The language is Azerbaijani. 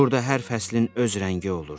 Burda hər fəslin öz rəngi olurdu.